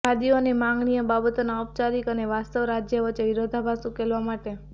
વાદીઓને માગણીઓ બાબતોના ઔપચારિક અને વાસ્તવિક રાજ્ય વચ્ચે વિરોધાભાસ ઉકેલવા માટે